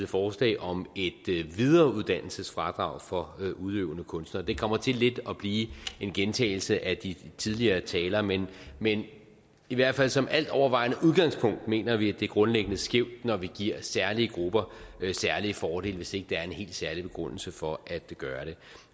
forslag om et videreuddannelsesfradrag for udøvende kunstnere det kommer til lidt at blive en gentagelse af de tidligere taler men i hvert fald som altovervejende udgangspunkt mener vi at det er grundlæggende skævt når vi giver særlige grupper særlige fordele hvis ikke der er en helt særlig begrundelse for at gøre det